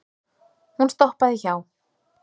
Hún stoppaði hjá